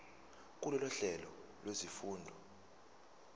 kulolu hlelo lwezifundo